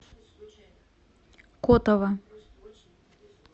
котово